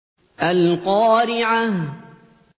الْقَارِعَةُ